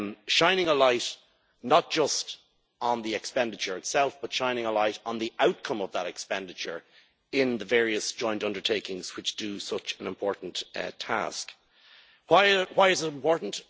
Shining a light not just on the expenditure itself, but shining a light on the outcome of that expenditure in the various joint undertakings, which do such an important task. Why is it important?